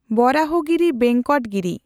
Varahagiri Venkata Giri